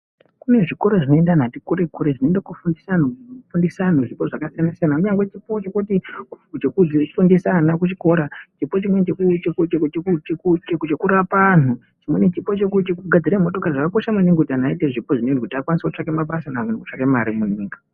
Kune zvikora zvinoenda anhu ati kure kure zvinoenda kofundisa anhu zvipo zvakasiyana-siyana. Kunyangwe chipo chekuti chekufundisa ana kuchikora, chipo chimweni chekurapa anhu, chimweni chipo chekugadzira motokari. Zvakakosha maningi kuti anhu aite zvipo zvinezvi kuti akwanise kutsvaka mabasa nekutsvaka mare munyika.